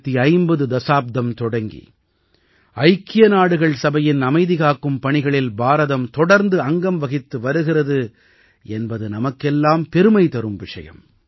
1950 தஸாப்தம் தொடங்கி ஐக்கிய நாடுகள் சபையின் அமைதிகாக்கும் பணிகளில் பாரதம் தொடர்ந்து அங்கம் வகித்து வருகிறது என்பது நமக்கெல்லாம் பெருமை தரும் விஷயம்